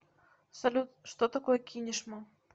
салют что такое кинешма